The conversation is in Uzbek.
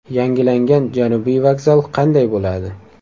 Yangilangan Janubiy vokzal qanday bo‘ladi?.